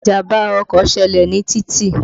Ìjàmbá ọkọ̀ ṣẹlẹ̀ ní títì.